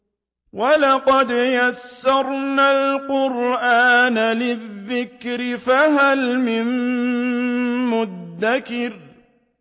وَلَقَدْ يَسَّرْنَا الْقُرْآنَ لِلذِّكْرِ فَهَلْ مِن مُّدَّكِرٍ